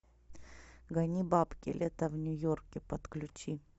гони бабки лето в нью йорке подключи